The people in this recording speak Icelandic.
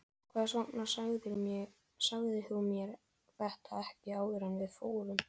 Hvers vegna sagðirðu mér þetta ekki áður en við fórum?